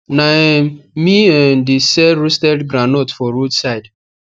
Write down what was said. na um me um de sell roasted groundnut for road side